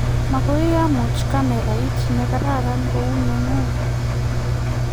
makoi amuch kamerait ne kararan kou ne ng'ung